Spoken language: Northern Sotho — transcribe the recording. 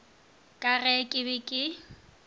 ka ge ke be ke